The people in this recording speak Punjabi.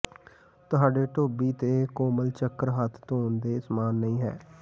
ਤੁਹਾਡੇ ਧੋਬੀ ਤੇ ਕੋਮਲ ਚੱਕਰ ਹੱਥ ਧੋਣ ਦੇ ਸਮਾਨ ਨਹੀਂ ਹੈ